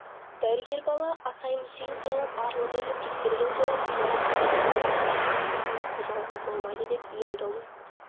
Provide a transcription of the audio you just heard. дәрігер бала асай-мүсейін сайлап арлы-берлі тексерген соң соғып қан тасығаннан қайталап ұрған қозғауға болмайды деп ем-домын